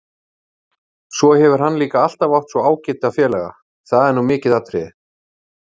Svo hefur hann líka alltaf átt svo ágæta félaga, það er nú mikið atriði.